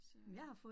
Så